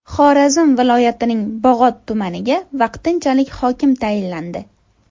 Xorazm viloyatining Bog‘ot tumaniga vaqtinchalik hokim tayinlandi.